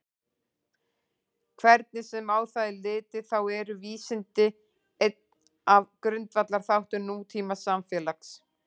Hvernig sem á það er litið þá eru vísindi einn af grundvallarþáttum nútímasamfélags.